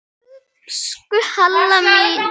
Elsku Halla mín.